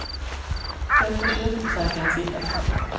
Då ska kyrkobesökarna sitta på dem.